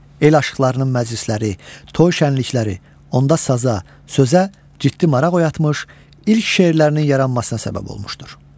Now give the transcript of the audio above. El aşıqlarının məclisləri, toy şənlikləri onda saza, sözə ciddi maraq oyatmış, ilk şeirlərinin yaranmasına səbəb olmuşdur.